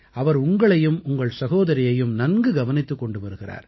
அவர் உங்களையும் உங்கள் சகோதரியையும் நன்கு கவனித்துக் கொண்டு வருகிறார்